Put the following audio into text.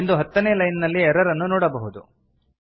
ಎಂದು ಹತ್ತನೇ ಲೈನ್ ನಲ್ಲಿ ಎರರ್ ಅನ್ನು ನೊಡಬಹುದು